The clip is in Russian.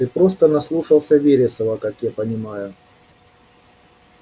ты просто наслушался вересова как я понимаю